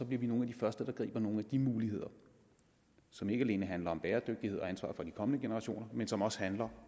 vi bliver nogle af de første der griber nogle af de muligheder som ikke alene handler om bæredygtighed og ansvar for de kommende generationer men som også handler